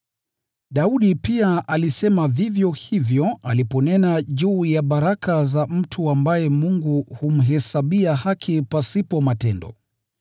Daudi pia alisema vivyo hivyo aliponena juu ya baraka za mtu ambaye Mungu humhesabia haki pasipo matendo: